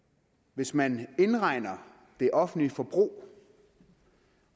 hvis man indregner det offentlige forbrug